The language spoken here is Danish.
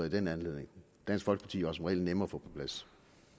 i den anledning dansk folkeparti var som regel nemme at på plads